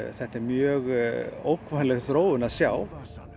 þetta er mjög ógnvænleg þróun að sjá